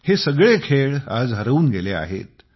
हे सगळे खेळ आज हरवून गेले आहेत